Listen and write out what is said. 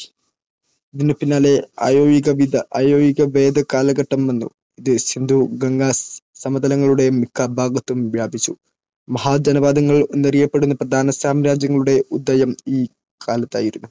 ഇതിനു പിന്നാലെ അയോയുഗ വേദ കാലഘട്ടം വന്നു, ഇത് സിന്ധു-ഗംഗാ സമതലങ്ങളുടെ മിക്ക ഭാഗത്തും വ്യാപിച്ചു. മഹാജനപദങ്ങൾ എന്നറിയപ്പെട്ട പ്രധാന സാമ്രാജ്യങ്ങളുടെ ഉദയം ഈ കാലത്തായിരുന്നു.